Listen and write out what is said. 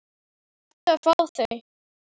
Þarftu að fá þau?